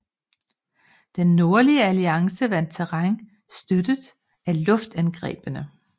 Den Nordlige Alliance vandt terræn støttet af luftangrebene